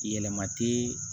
Yɛlɛma tɛ